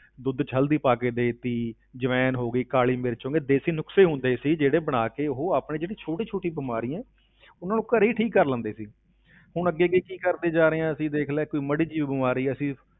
ਦੁੱਧ ਵਿੱਚ ਹਲਦੀ ਪਾ ਕੇ ਦੇ ਦਿੱਤੀ, ਜਵੈਣ ਹੋ ਗਈ, ਕਾਲੀ ਮਿਰਚ ਹੋ ਗਈ, ਦੇਸ਼ੀ ਨੁਕਸੇ ਹੁੰਦੇ ਸੀ ਜਿਹੜੇ ਬਣਾ ਕੇ ਉਹ ਆਪਣੇ ਜਿਹੜੀ ਛੋਟੀ ਛੋਟੀ ਬਿਮਾਰੀਆਂ ਹੈ ਉਨ੍ਹਾਂ ਨੂੰ ਘਰੇ ਹੀ ਠੀਕ ਕਰ ਲੈਂਦੇ ਸੀ ਹੁਣ ਅੱਗੇ ਅੱਗੇ ਕੀ ਕੀ ਕਰਦੇ ਜਾ ਰਹੇ ਹਾਂ ਅਸੀਂ ਦੇਖ ਲਾ ਕੋਈ ਮਾੜੀ ਜਿਹੀ ਬਿਮਾਰੀ ਆ ਅਸੀਂ